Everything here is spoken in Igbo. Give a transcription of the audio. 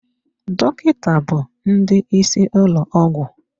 Dọkịta bụ ndị isi ụlọ ọgwụ.